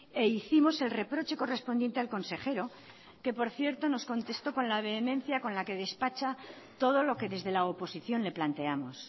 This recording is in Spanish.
e hicimos el reproche correspondiente al consejero que por cierto nos contestó con la vehemencia con la que despacha todo lo que desde la oposición le planteamos